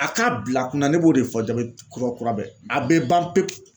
A k'a bila kunna ne b'o de fɔ jabɛti kura kura bɛɛ ye a bɛ ban pewu.